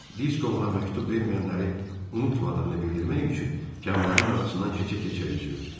Disko ona məktub verməyənləri unutmadığını bildirmək üçün Kamillərin arasından keçə-keçə üzürdü.